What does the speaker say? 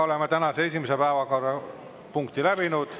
Oleme tänase esimese päevakorrapunkti läbinud.